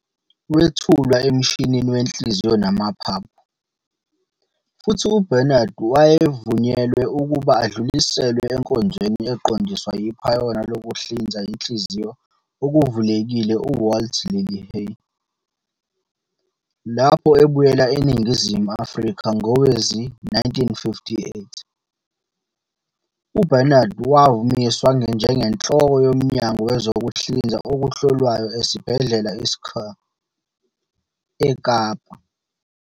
Wethulwa emshinini wenhliziyo namaphaphu, futhi uBarnard wavunyelwa ukuba adluliselwe enkonzweni eqondiswa yiphayona lokuhlinza inhliziyo okuvulekile UWalt Lillehei. Lapho ebuyela eNingizimu Afrika ngowezi-1958, uBarnard wamiswa njengenhloko yoMnyango Wezokuhlinza Okuhlolwayo esibhedlela i Schuur, eKapa.